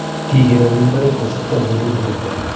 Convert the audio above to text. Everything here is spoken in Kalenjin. Kikerere mbaret kosibkei ak oleiburto.